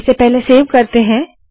इसे पहले सेव करते है